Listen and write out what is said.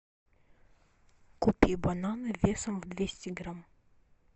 купи бананы весом в двести грамм